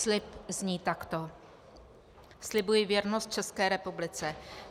Slib zní takto: "Slibuji věrnost České republice.